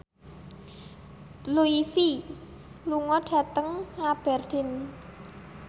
Blue Ivy lunga dhateng Aberdeen